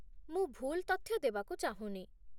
ମୁଁ ଭୁଲ୍ ତଥ୍ୟ ଦେବାକୁ ଚାହୁଁନି।